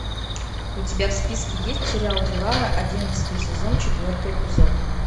у тебя в списке есть сериал дюрарара одиннадцатый сезон четвертый эпизод